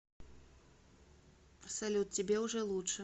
салют тебе уже лучше